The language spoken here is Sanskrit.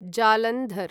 जालन्धर्